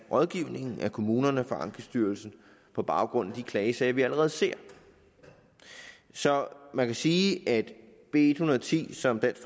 rådgivningen af kommunerne fra ankestyrelsen på baggrund af de klagesager vi allerede ser så man kan sige at b en hundrede og ti som dansk